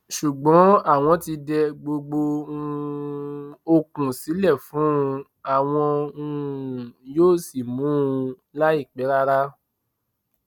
ṣùgbọn àwọn ti dẹ gbogbo um okun sílẹ fún un àwọn um yóò sì mú un láìpẹ rárá